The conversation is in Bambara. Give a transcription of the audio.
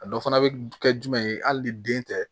A dɔ fana bɛ kɛ jumɛn ye hali ni den tɛ